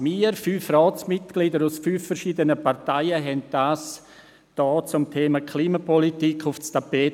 Wir fünf Ratsmitglieder aus fünf verschiedenen Parteien brachten dieses hier zum Thema Klimapolitik aufs Tapet.